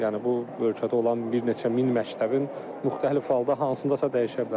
Yəni bu ölkədə olan bir neçə min məktəbin müxtəlif halda hansındasa dəyişə bilər.